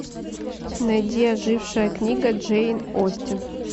найди ожившая книга джейн остин